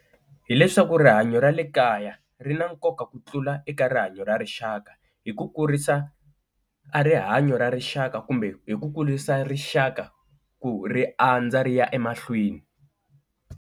Hi leswaku rihanyo ra le kaya ri na nkoka ku tlula eka rihanyo ra rixaka hi ku kurisa a rihanyo ra rixaka kumbe hi ku kulisa rixaka ku ri andza ri ya emahlweni.